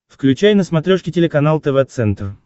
включай на смотрешке телеканал тв центр